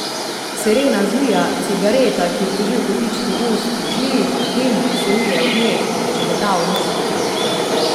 Serena zvija, cigareta, ki jo drži v kotičku ust, tli, dim, ki se vije od nje, me ščegeta v nosnicah.